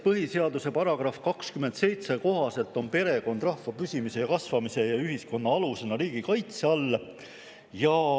Põhiseaduse § 27 kohaselt on perekond rahva püsimise ja kasvamise ning ühiskonna alusena riigi kaitse all.